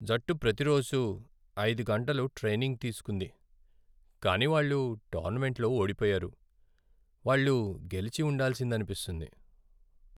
జట్టు ప్రతి రోజూ ఐదు గంటలు ట్రైనింగ్ తీసుకుంది, కానీ వాళ్ళు టోర్నమెంట్లో ఓడిపోయారు. వాళ్ళు గెలిచి ఉండాల్సిందనిపిస్తుంది.